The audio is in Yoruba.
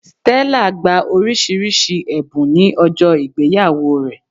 Stella gba oríṣiríṣi èbùn ní ọjó ìgbéyàwó rẹ̀